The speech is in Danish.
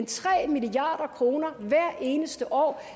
tre milliard kroner hvert eneste år